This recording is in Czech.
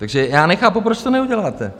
Takže já nechápu, proč to neuděláte.